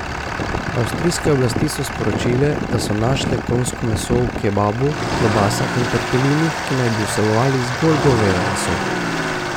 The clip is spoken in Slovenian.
Avstrijske oblasti so sporočile, da so našle konjsko meso v kebabu, klobasah in tortelinih, ki naj bi vsebovali zgolj goveje meso.